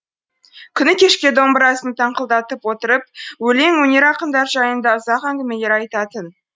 күні кешке домбырасын тыңқылдатып отырып өлең өнер ақындар жайында ұзақ әңгімелер айтатын